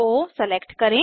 ओ select करें